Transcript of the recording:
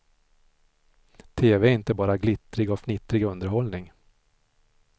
Tv är inte bara glittrig och fnittrig underhållning.